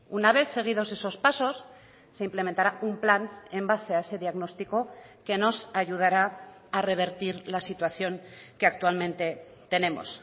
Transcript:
una vez seguidos esos pasos se implementará un plan en base a ese diagnóstico que nos ayudará a revertir la situación que actualmente tenemos